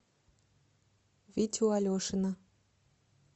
витю алешина